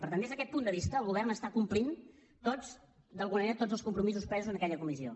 per tant des d’aquest punt de vista el govern està complint tots d’alguna manera tots els compromisos presos en aquella comissió